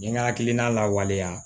N ye n ka hakilina lawaleya